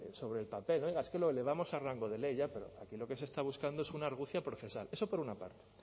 sobre el papel venga es que lo elevamos a rango de ley ya pero aquí lo que se está buscando es una argucia procesal eso por una parte